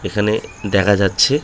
এখানে দেখা যাচ্ছে।